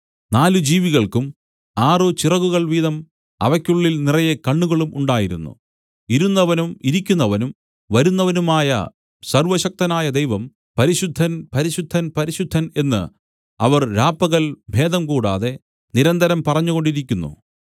നാല് ജീവികൾക്കും ആറ് ചിറകുകൾ വീതം അവയ്ക്കുള്ളിൽ നിറയെ കണ്ണുകളും ഉണ്ടായിരുന്നു ഇരുന്നവനും ഇരിക്കുന്നവനും വരുന്നവനുമായ സർവ്വശക്തനായ ദൈവം പരിശുദ്ധൻ പരിശുദ്ധൻ പരിശുദ്ധൻ എന്നു അവർ രാപ്പകൽ ഭേദം കൂടാതെ നിരന്തരം പറഞ്ഞുകൊണ്ടിരിക്കുന്നു